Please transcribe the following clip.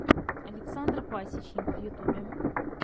александр пасечник в ютубе